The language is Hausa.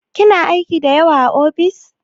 Kina aiki da yawa a ofis?